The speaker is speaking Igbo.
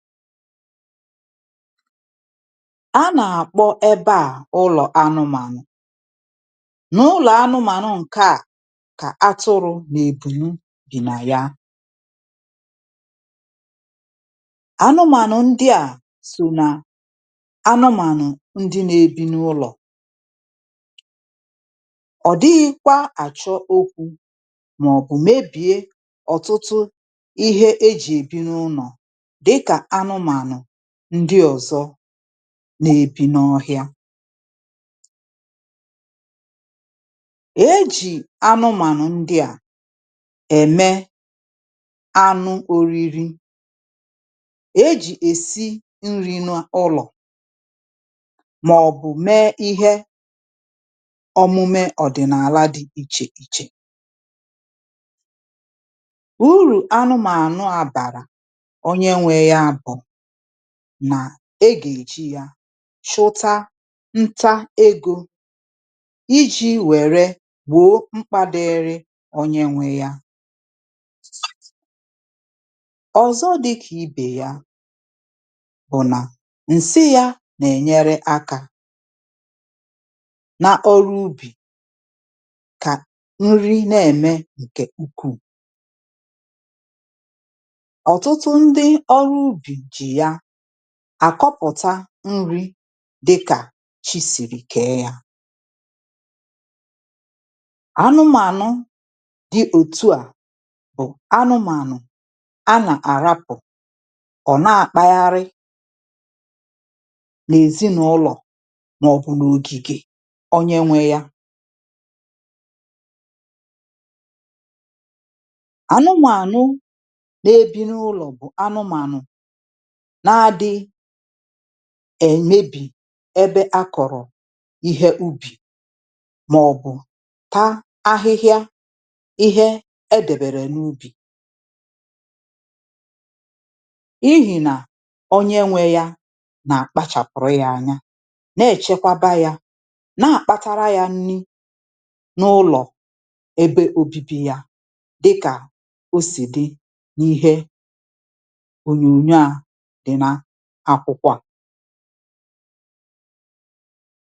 a nà àkpọ ẹbẹ à ụnọ̀ anụmànụ̀. n’ụlọ̀ anụmànụ̀ ǹkẹ à kà atụrụ̄ nà ìgùru dị nà ya. anụmànụ̀ ndịà sò nà anụmànụ̀ ndi nā ebi n’ụlọ̀. ọ̀ dighīkwa àchọ okwū, mà ọ̀ bụ̀ mebìe òtụtụ ịhẹ e jì èbi n’ụlọ̀, dịkà anụmànụ̀ ndị ọ̀zọ na ebi n’ọhịa. e jì anụmànụ̀ ndịa ẹmẹ anụ oriri. e jì yà èsi nrī n’ụlọ̀, mà ọ̀ bụ mẹ ịhẹ ọmụmẹ ọ̀dị̀nàla dị ichè ichè. urù anụmànụ̀ à bàrà ọnyẹ nwẹ ya bụ̀ nà e gà èji yā chụta nta egō, ijī wẹ̀rẹ gbòo mkpā dịrị ọnyẹ nwẹ ya. ọ̀zọ dịkà ibè ya bụ̀ nà ǹsị yā nà ẹ̀nyẹrẹ akā, na ọrụ ubì, kà nri nà ẹ̀mẹ ǹkẹ̀ ukwuù. ọ̀tụtụ ndị ọrụ ubì jì ya àkọpụ̀ta nrī dịkà chi sìrì kẹ̀ẹ ya. anụmànụ̀ di òtuà bụ̀ anụmànụ̀ a ràpụ̀ àrapụ̀, ọ̀ nà àkpagharị n;èzịnụlọ̀, mà ọ̀ bụ̀ nà ògìgè onye nwẹ yā. anụmànụ̀ nae bi n’ụlọ̀ bụ̀ anụmànụ̀ na adịghị èmebì ịhẹ a kọ̀rọ̀ ịhẹ ubì, mà ọ̀ bụ̀ ta ahịhịa ịhẹ e dẹ̀bẹ̀rẹ̀ n’ubì, n’ihì nà onye nwẹ y anà àkpachàpụ̀rụ ya anya, nà ẹ̀chẹkwaba ya, nà àkpatakwara yā nri n’ụlọ̀ ebe obibi yā, dịkà osì dị n’ịhẹ ònyònyo a dị n’akwụkwọ à.